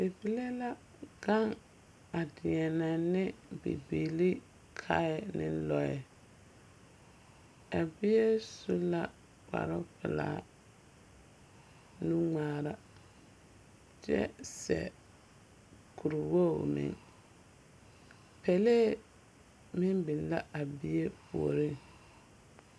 Bibile la gaŋe a deԑnԑ ne bibilii kae ne lͻԑ. A bie su la kparoŋ pelaa, nu ŋmaara kyԑ seԑ kuri wogiri meŋ. Pelee meŋ biŋ la a bie puoriŋ.